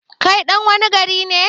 kai ɗan wani gari ne?